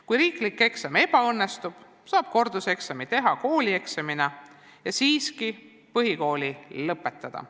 Kui riiklik eksam ebaõnnestub, saab korduseksami teha koolieksamina ja põhikooli siiski lõpetada.